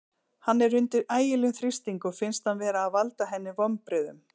Hann er undir ægilegum þrýstingi og finnst hann vera að valda henni vonbrigðum.